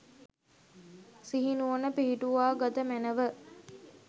සිහි නුවණ පිහිටුවා ගත මැනැව.